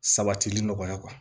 Sabatili nɔgɔya